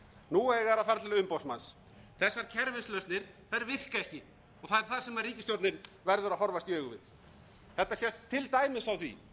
nú eiga þeir að fara til umboðsmanns þessar kerfislausnir virka ekki og það er það sem ríkisstjórnin verður að horfast í augu við þetta sést til dæmis á því